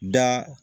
Da